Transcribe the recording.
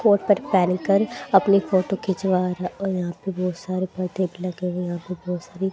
coat pant पहनकर अपनी photo खिंचवाना रा और बहोत सारे लगे और यहां बहोत सारी--